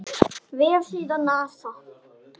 Vefsíða NASA.